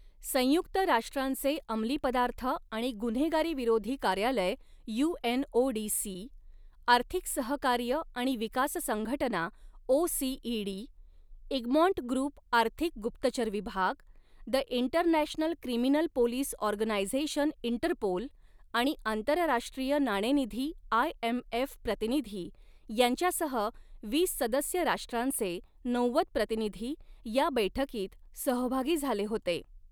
संयुक्त राष्ट्रांचे अमली पदार्थ आणि गुन्हेगारीविरोधी कार्यालय युएनओडीसी, आर्थिक सहकार्य आणि विकास संघटना ओसीईडी, इगमॉन्ट ग्रुप आर्थिक गुप्तचर विभाग, the international criminal police organisation Interpol आणि आंतरराष्ट्रीय नाणेनिधी आयएमएफ प्रतिनिधी यांच्यासह वीस सदस्य राष्ट्रांचे नव्वद प्रतिनिधी या बैठकीत सहभागी झाले होते.